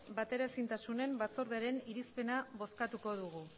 bateraezintasunen batzordearen irizpena bozkatuko dugu